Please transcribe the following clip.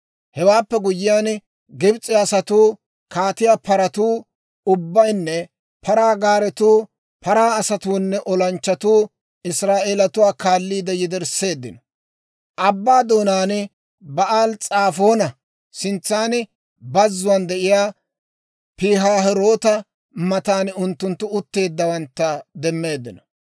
Hewaappe guyyiyaan Gibs'e asatuu, kaatiyaa paratuu ubbaynne paraa gaaretuu, paraa asatuunne olanchchatuu Israa'eelatuwaa kaaliide yedersseeddino. Abbaa doonaan Ba'aali-S'afoona sintsa bazzuwaan de'iyaa Pihaahiroota matan unttunttu utteeddawantta demmeeddino.